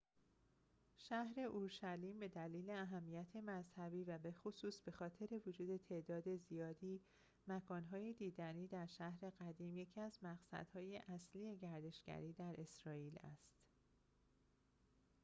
شهر اورشلیم به دلیل اهمیت مذهبی و بخصوص بخاطر وجود تعداد زیادی مکان‌های دیدنی در شهر قدیم یکی از مقصدهای اصلی گردشگری در اسرائیل است